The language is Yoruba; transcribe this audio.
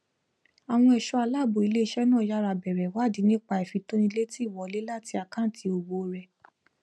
àwọn ẹṣọ aláàbò iléiṣẹ náà yára bẹrẹ ìwádìí nípa ìfitónilétí ìwọlé láti àkáǹtì òwò rẹ